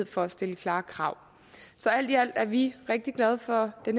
for at stille klare krav så alt i alt er vi rigtig glade for det